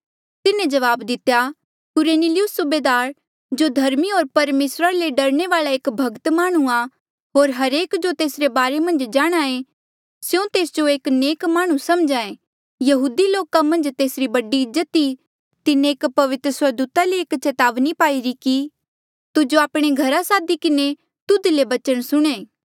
तिन्हें जवाब दितेया कुरनेलियुस सूबेदार जो धर्मी होर परमेसरा ले डरने वाल्आ एक भक्त माह्णुंआं होर हरेक जो तेसरे बारे मन्झ जाणहां ऐें स्यों तेस जो एक नेक माह्णुं समझ्हा ऐें यहूदी लोका मन्झ तेसरी बड़ी इज्जत ई तिन्हें एक पवित्र स्वर्गदूता ले एक चेतावनी पाईरी कि तुजो आपणे घरा सादी किन्हें तुध ले बचन सुणे